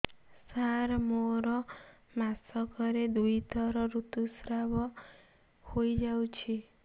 ସାର ମୋର ମାସକରେ ଦୁଇଥର ଋତୁସ୍ରାବ ହୋଇଯାଉଛି